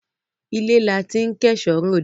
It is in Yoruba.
ilé la ti ń kẹ̀ṣọ́ ròde.